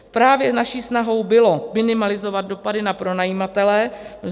Právě naší snahou bylo minimalizovat dopady na pronajímatele.